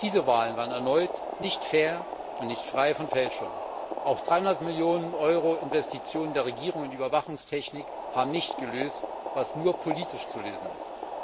Auch diese Wahlen waren erneut nicht fair und nicht frei von Fälschung. Auch dreihundert Millionen Euro Investitionen der Regierung in Überwachungstechnik haben nicht gelöst, was nur politisch zu lösen ist.